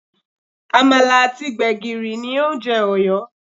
Àmàlà àti gbègìrì ni oúnjẹ Ọ̀yọ́